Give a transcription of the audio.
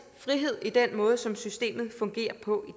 frihed i den måde som systemet fungerer på